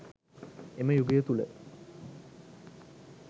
එම යුගය තුළ